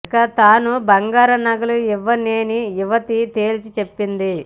ఇక తాను బంగారు నగలు ఇవ్వలేనని యువతి తేల్చి చెప్పింది